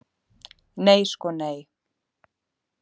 Nei sko nei.